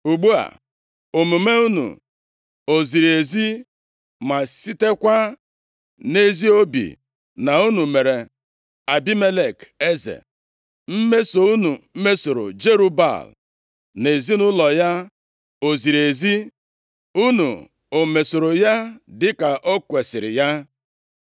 “Ugbu a, omume unu o ziri ezi ma sitekwa nʼezi obi na unu mere Abimelek eze? Mmeso unu mesoro Jerub-Baal na ezinaụlọ ya o ziri ezi? Unu omesoro ya dịka o kwesiri ya?